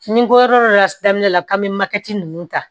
Ni n ko yɔrɔ dɔ la daminɛ la kaban ninnu ta